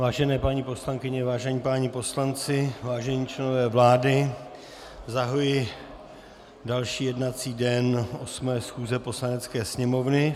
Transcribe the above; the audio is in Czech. Vážené paní poslankyně, vážení páni poslanci, vážení členové vlády, zahajuji další jednací den 8. schůze Poslanecké sněmovny.